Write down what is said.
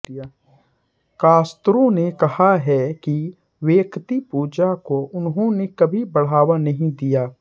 Castro ने कहा है कि व्यक्तिपूजा को उन्होंने कभी बढ़ावा नहीं दिया